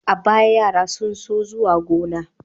A baya, yara sun so zuwa gona.